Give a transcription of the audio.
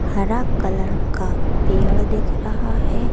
हरा कलर का पेड़ दिख रहा है।